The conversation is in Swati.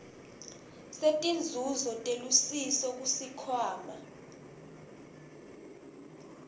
setinzuzo telusiso kusikhwama